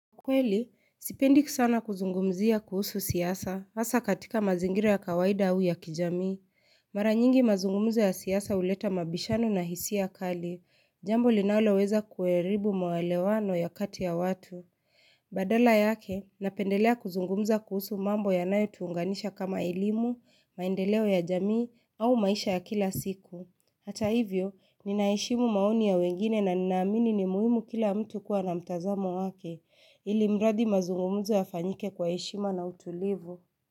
Kweli, sipendi sana kuzungumzia kuhusu siasa, hasa katika mazingira ya kawaida au ya kijamii. Mara nyingi mazungumzo ya siasa huleta mabishano na hisia kali, jambo linaloweza kuharibu maelewano ya kati ya watu. Badala yake, napendelea kuzungumza kuhusu mambo yanayo tuunganisha kama elimu, maendeleo ya jamii, au maisha ya kila siku. Hata hivyo, nina heshimu maoni ya wengine na ninaamini ni muhimu kila mtu kuwa na mtazamo wake. Ilimradi mazungumuzo yafanyike kwa heshima na utulivu.